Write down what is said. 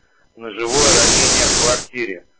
ножевое ранение в квартире